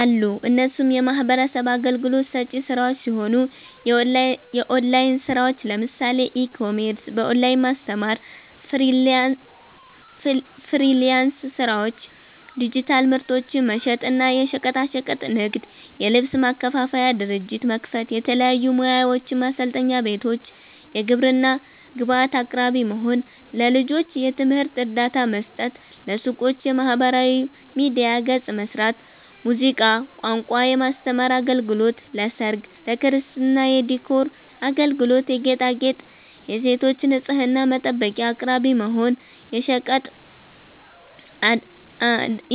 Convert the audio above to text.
አሉ እነሱም የሚህበረሰብ አገልግሎት ሰጪ ስራዎች ሲሆኑ፦ የኦላይን ስራዎች ለምሳሌ፦ ኢ-ኮሜርስ፣ በኦላይን ማስተማር፣ ፍሊራንስ ስራዎች፣ ዲጂታል ምርቶችን መሸጥ እና፣ የሸቀጣሸቀጥ ንግድ, የልብስ ማከፋፈያ ድርጅት መክፈት፣ የተለያዩ ሙያዎችን ማሰልጠኛ ቤቶች፣ የግብርና ግብአት አቅራቢ መሆን፣ ለልጆች የትምህርት እርዳታ መስጠት፣ ለሱቆች የማህበራዊ ሚዲያ ገፅ መስራት፣ ሙዚቃ፣ ቋንቋ የማስተማር አገልግሎት ለሰርግ፣ ለክርስትና የዲኮር አገልግሎት የጌጣጌጥ, የሴቶች ንፅህና መጠበቂያ አቅራቢ መሆን፣